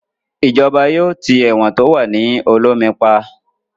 Ìjọba yóò tì ẹ̀wọ̀n tí ó wà ní Olómi pa